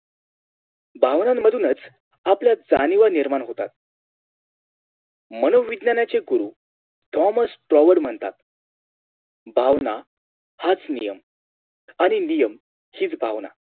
भावना मधूनच आपल्या जाणीवा निर्माण होतात. मनोविज्ञानांचे गुरु Thomas Tower म्हणतात भावना हाच नियम आणि नियम हीच भावना